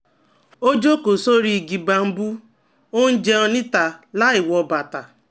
Ó jókòó sórí igi bambú, ó ó ń jẹun níta láìwọ bàtà